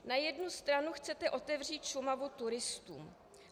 Na jednu stranu chcete otevřít Šumavu turistům.